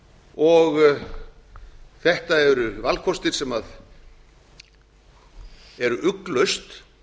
og þetta eru valkostir sem eru ugglaust